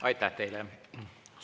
Aitäh teile!